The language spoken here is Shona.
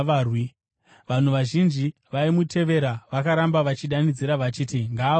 Vanhu vazhinji vaimutevera vakaramba vachidanidzira vachiti, “Ngaaurayiwe!”